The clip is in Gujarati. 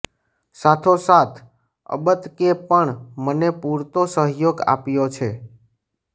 સાથો સાથ અબતકે પણ મને પુરતો સહયોગ આપ્યો છે